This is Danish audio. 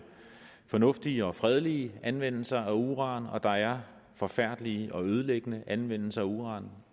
fornuftige og fredelige anvendelser af uran og der er forfærdelige og ødelæggende anvendelser af uran